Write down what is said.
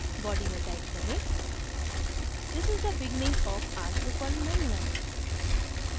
body में type करें this is the beginning of our drupal manual